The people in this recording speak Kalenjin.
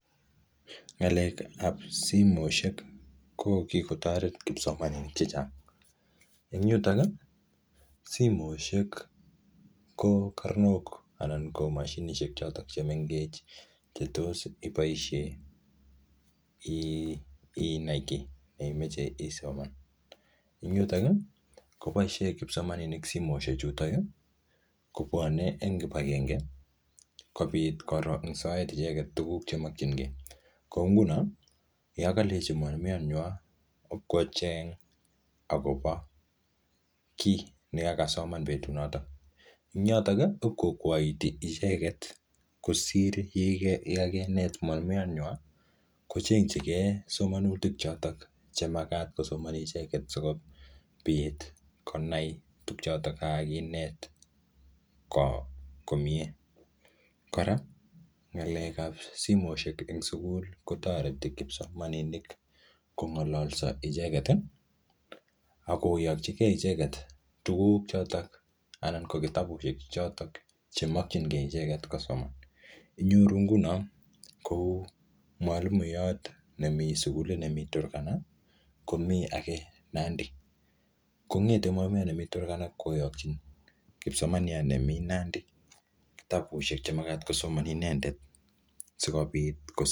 Ng'akek ab simoisiek ko kikotoret kipsomaninik chechang, en yuton ii simoisiek ko karnok anan ko moshinisiek chotok chemengech che tos iboisien inai kii neimoche isoman ,en yuton ii koboisien kipsomaninik simoisiek chutok kobwone en kipagenge kobiit koroksoen icheget kinemokying'en, ko ingunon yon kolenji mwalimuyanywan kocheng akobo kii negagasoman betut noton, en yoton ko iib kokwaiti icheget kosir yeganet mwalimuyanwan kochenchigen somonutik chotok chemagat kosomoni icheget chebo beet konai tuguk choton chekaginet komyee, kora ng'alekab simoisiek en sugul kotoreti kipsomaninik kong'ololso icheget ak koyokjige icheget chotok anan ko kitabusiek chotok chemokyigen icheget kosoman, inyoru ingunon kou mwalimuyot nemi sugulit nemi Turgana komi age Nandi kong'ete mwalimuyat nemi turgana koyokyin kipsomaniat nemi Nandi kitabusiek chemagat kosoman inendet.